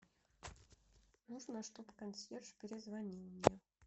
нужно чтобы консьерж перезвонил